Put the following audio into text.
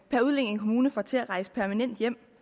kommune får til at rejse permanent hjem